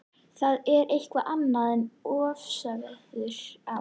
Það er eitthvað annað en ofsaveðrið á